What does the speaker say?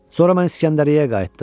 Sonra mən İsgəndəriyyəyə qayıtdım.